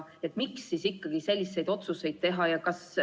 Miks siis ikkagi selliseid otsuseid teha?